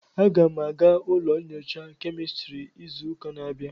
Aga m aga ụlọ nyocha kemistri n'izu na-abịa.